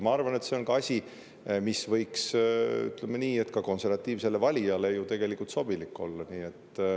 Ma arvan, et see on asi, mis võiks, ütleme nii, ka konservatiivsele valijale sobilik olla.